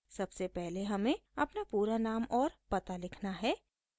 सबसे पहले हमें अपना पूरा नाम और पता लिखना है